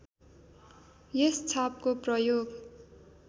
यस छापको प्रयोग